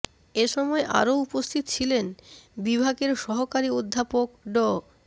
এ সময় আরো উপস্থিত ছিলেন বিভাগের সহকারী অধ্যাপক ড